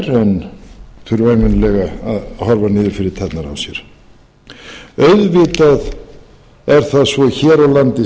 en þurfa ævinlega að horfa niður fyrir tærnar á sér auðvitað er það svo hér á landi